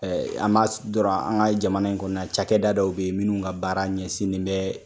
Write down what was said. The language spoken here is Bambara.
an dɔrɔn, an ka jamana in kɔnɔ cakɛda dɔw bɛ yen minnu ka baara ɲɛsinnen bɛ